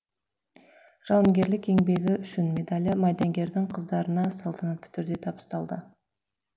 жауынгерлік еңбегі үшін медалі майдангердің қыздарына салтанатты түрде табысталды